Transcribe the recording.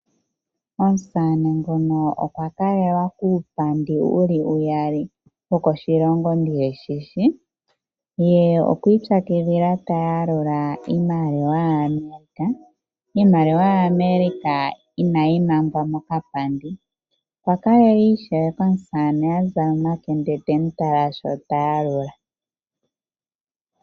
Omusamane ngoka okwa kalelwa kuupandi wiimaliwa uyali wokoshilongo kaandi shi shi. Ye okwa ipyakidhila ta yalula iimaliwa yaAmerica. Iimaliwa yaAmerica inayi mangwa mokapandi. Okwa kalelwa ishewe komusamane a zala omakende temu tala shi ta yalula.